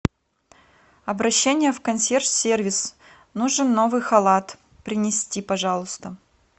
обращение в консьерж сервис нужен новый халат принести пожалуйста